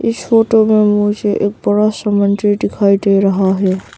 इस फोटो में मुझे एक बड़ा सा मंदिर दिखाई दे रहा है।